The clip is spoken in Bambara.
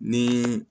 Ni